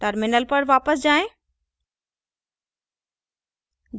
terminal पर वापस जाएँ